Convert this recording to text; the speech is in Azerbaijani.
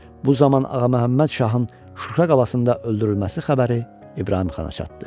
Bu zaman Ağa Məhəmməd Şahın Şuşa qalasında öldürülməsi xəbəri İbrahım xana çatdı.